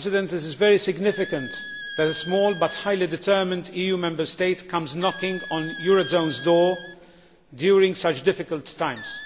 It is very significant that a small, but highly determined, EU Member State comes knocking on the eurozone's door during such difficult times.